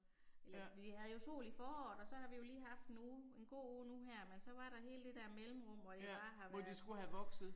Ja. Ja, hvor de skulle have vokset